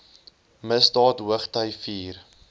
misdaad hoogty vier